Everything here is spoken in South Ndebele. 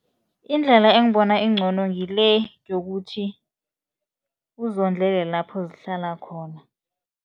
Indlela engibona incono ngile yokuthi, uzondlele lapho zihlala khona.